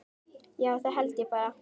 Já, það held ég bara.